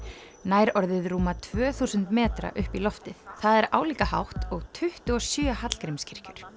nær orðið rúma tvö þúsund metra upp í loftið það er álíka hátt og tuttugu og sjö